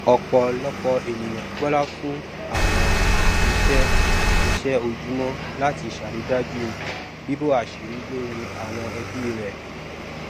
ọpọlọpọ ènìyàn gbọlá fún àwọn iṣẹ iṣẹ ojúmọ láti ṣàrídájú bíbò àṣírí lórí àwọn ẹbí rẹ